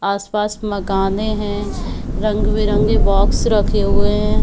आसपास मकाने है रंग -बिरंगे बॉक्स रखे हुए है।